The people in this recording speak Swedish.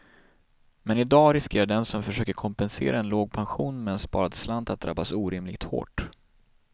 Men i dag riskerar den som försöker kompensera en låg pension med en sparad slant att drabbas orimligt hårt.